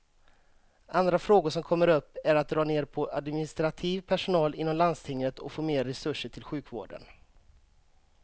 Andra frågor som kommer upp är att dra ner på administrativ personal inom landstinget och få mer resurser till sjukvården.